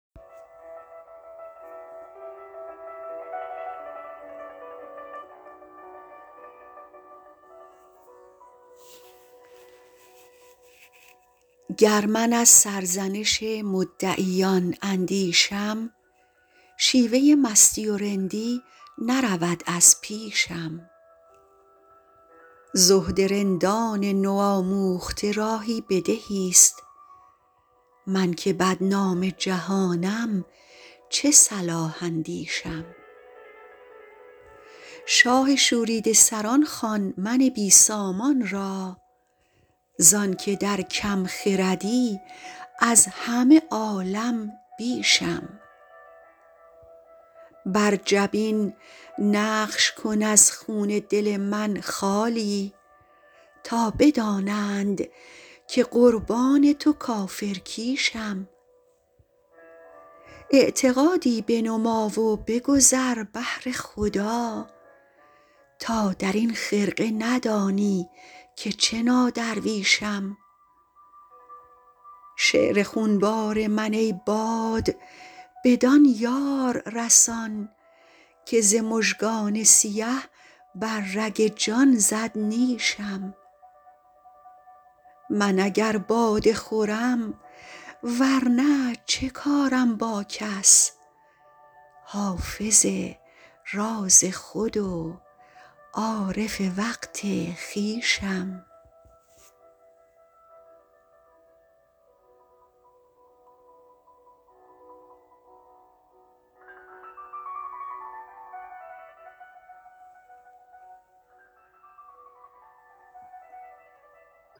گر من از سرزنش مدعیان اندیشم شیوه مستی و رندی نرود از پیشم زهد رندان نوآموخته راهی به دهیست من که بدنام جهانم چه صلاح اندیشم شاه شوریده سران خوان من بی سامان را زان که در کم خردی از همه عالم بیشم بر جبین نقش کن از خون دل من خالی تا بدانند که قربان تو کافرکیشم اعتقادی بنما و بگذر بهر خدا تا در این خرقه ندانی که چه نادرویشم شعر خونبار من ای باد بدان یار رسان که ز مژگان سیه بر رگ جان زد نیشم من اگر باده خورم ور نه چه کارم با کس حافظ راز خود و عارف وقت خویشم